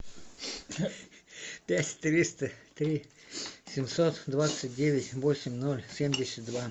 пять триста три семьсот двадцать девять восемь ноль семьдесят два